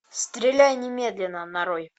стреляй немедленно нарой